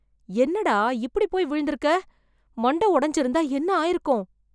என்னடா, இப்படி போய் விழுந்திருக்கே, மண்டை ஒடைந்திருந்தா என்ன ஆய்ருக்கும்